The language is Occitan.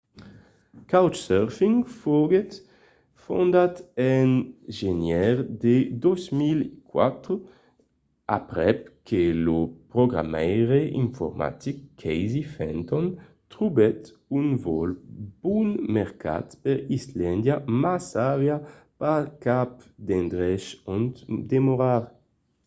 couchsurfing foguèt fondat en genièr de 2004 aprèp que lo programaire informatic casey fenton trobèt un vòl bon mercat per islàndia mas aviá pas cap d'endrech ont demorar